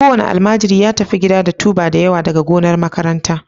Kowane almajiri ya tafi gida da tuber dawa daga gonar makaranta